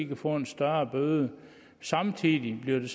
kan få en større bøde samtidig bliver